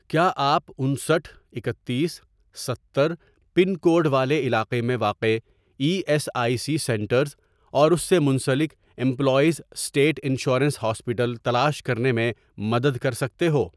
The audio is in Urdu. کیا آپ انسٹھ ،اکتیس، ستر، پن کوڈ والے علاقے میں واقع E S I C centres اور اس سے منسلک امپلائیز اسٹیٹ انشورنس ہاسپیٹل تلاش کرنے میں مدد کر سکتے ہو؟